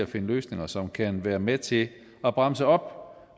finder løsninger som kan være med til at bremse op